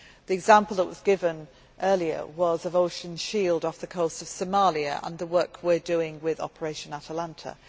The example that was given earlier was of Ocean Shield off the coast of Somalia and the work we are doing with Operation Atalanta.